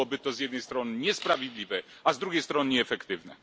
Byłoby to z jednej strony niesprawiedliwe, a z drugiej strony nieefektywne.